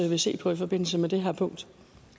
se på i forbindelse med det her punkt